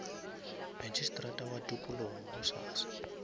magistrata wa tikologo gosasa